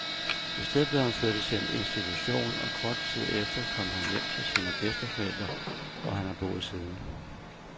I stedet blev han flyttet til en institution, og kort tid efter kom han hjem til sine bedsteforældre, hvor han har boet siden.